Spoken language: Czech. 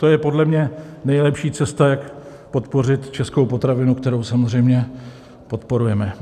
To je podle mě nejlepší cesta, jak podpořit českou potravinu, kterou samozřejmě podporujeme.